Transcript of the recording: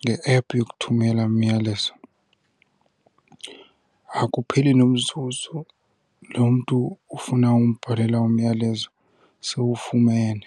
nge-ephu yokuthumela umyalezo akupheli nomzuzu lo mntu ufuna umbhalela umyalezo sewufumene.